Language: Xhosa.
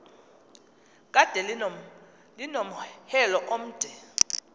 kade linomhelo omde